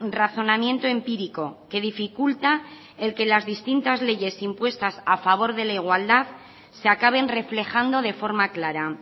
razonamiento empírico que dificulta el que las distintas leyes impuestas a favor de la igualdad se acaben reflejando de forma clara